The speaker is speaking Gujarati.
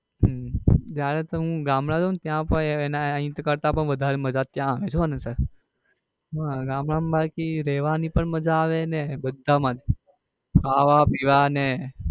હમ જયારે હું ગામડે જાઉં ત્યાં પણ એના અહીં કરતા પણ વધારે મજા ત્યાં આવે છે હો ને sir હા ગામડે બાકી રેવાની પણ મજા અને બધા માં જ ખાવા પીવા ને હમ